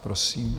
Prosím.